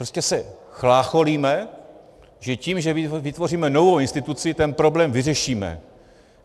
Prostě se chlácholíme, že tím, že vytvoříme novou instituci, ten problém vyřešíme.